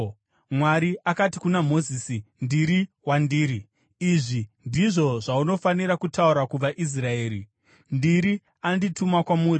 Mwari akati kuna Mozisi, “ Ndiri Wandiri . Izvi ndizvo zvaunofanira kutaura kuvaIsraeri: ‘ Ndiri ’ andituma kwamuri.”